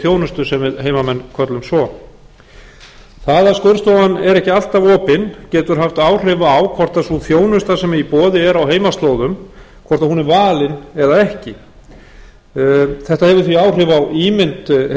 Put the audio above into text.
þjónusta sem við heimamenn köllum svo það að skurðstofan er ekki alltaf opin getur haft áhrif á hvort sú þjónusta sem í boði er á heimaslóðum er valin eða ekki þetta hefur þau áhrif á ímynd